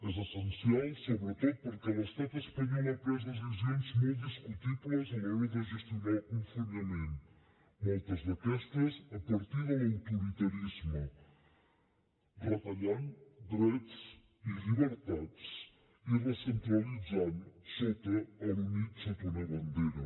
és essencial sobretot perquè l’estat espanyol ha pres decisions molt discutibles a l’hora de gestionar el confinament moltes d’aquestes a partir de l’autoritarisme retallant drets i llibertats i recentralitzant l’unit sota una bandera